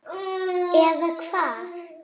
Eða Hvað?